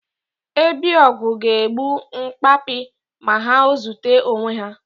Ebi ogwu ga-egbu nkapi ma ha ozute onwe ha.